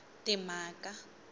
timhaka